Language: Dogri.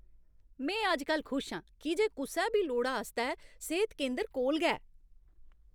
में अज्जकल खुश आं की जे कुसै बी लोड़ा आस्तै सेह्त केंदर कोल गै ऐ।